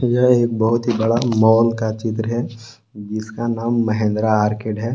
यह एक बहुत ही बड़ा मॉल का चित्र है जिसका नाम महिंद्रा आर्केड है।